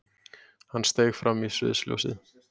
Hann steig fram í sviðsljósið.